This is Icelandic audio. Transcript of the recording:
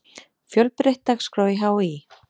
Fjölbreytt dagskrá í HÍ